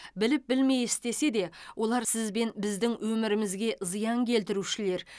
біліп білмей істесе де олар сіз бен біздің өмірімізге зиян келтірушілер